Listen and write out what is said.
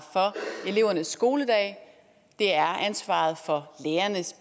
for elevernes skoledag det er ansvaret for lærernes